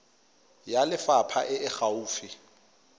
ya lefapha e e gaufi